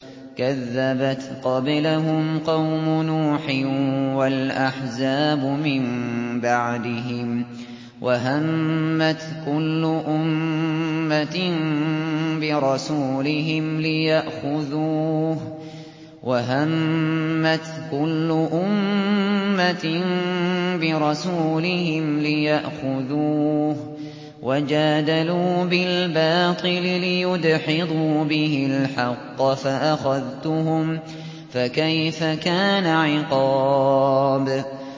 كَذَّبَتْ قَبْلَهُمْ قَوْمُ نُوحٍ وَالْأَحْزَابُ مِن بَعْدِهِمْ ۖ وَهَمَّتْ كُلُّ أُمَّةٍ بِرَسُولِهِمْ لِيَأْخُذُوهُ ۖ وَجَادَلُوا بِالْبَاطِلِ لِيُدْحِضُوا بِهِ الْحَقَّ فَأَخَذْتُهُمْ ۖ فَكَيْفَ كَانَ عِقَابِ